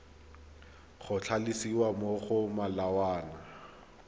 go tlhalosiwa mo go molawana